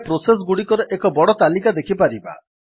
ଆମେ ପ୍ରୋସେସ୍ ଗୁଡିକର ଏକ ବଡ ତାଲିକା ଦେଖିପାରିବା